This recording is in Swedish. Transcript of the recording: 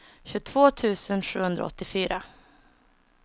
tjugotvå tusen sjuhundraåttiofyra